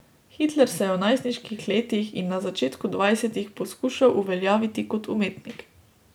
Hitler se je v najstniških letih in na začetku dvajsetih poskušal uveljaviti kot umetnik.